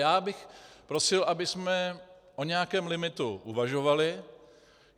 Já bych prosil, abychom o nějakém limitu uvažovali.